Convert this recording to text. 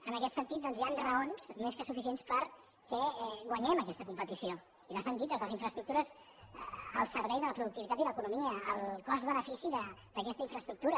en aquest sentit doncs hi han raons més que suficients perquè guanyem aquesta competició i les han dit doncs les infraestructures al servei de la productivitat i l’economia el cost benefici d’aquesta infraestructura